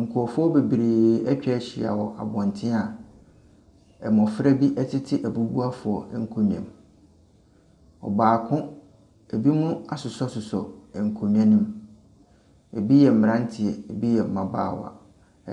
Nkurɔfoɔ bebree atwa ahyia wɔ abɔnten a mmɔfra bi tete abubuafo nkonnwa mu. Ɔbaako binom asosɔsosɔ nkonnwa ne mu, bi yɛ mmeranteɛ, bi yɛ mmabaawa.